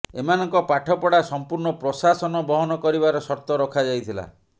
ଏମାନଙ୍କ ପାଠପଢା ସମ୍ପୂର୍ଣ୍ଣ ପ୍ରଶାସନ ବହନ କରିବାର ସର୍ତ୍ତ ରଖାଯାଇଥିଲା